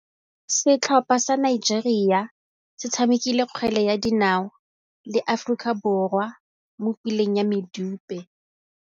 Setlhopha sa Nigeria se tshamekile kgwele ya dinaô le Aforika Borwa mo puleng ya medupe.